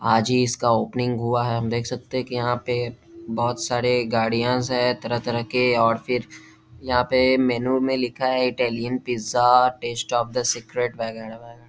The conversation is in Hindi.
आज ही इसका ओपनिंग हुआ है हम देख सकते है कि यहाँ पे बहुत सारे गाड़ियास है तरह-तरह के और फिर यहाँ पे मेनू में लिखा है Italian pizza taste of the secret वैगेरह-वैगेरह।